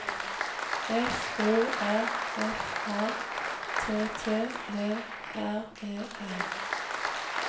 F O R F A T T E R E N